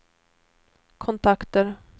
kontakter